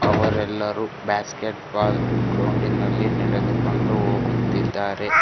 ಅವರೆಲ್ಲರೂ basketball ಗ್ರೌಂಡಿನಲ್ಲಿ ನಡೆದುಕೊಂಡು ಹೋಗುತ್ತಿದ್ದಾರೆ.